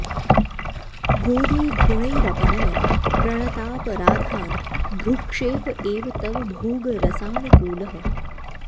गोदे गुणैरपनयन् प्रणतापराधान् भ्रूक्षेप एव तव भोग रसानुकूलः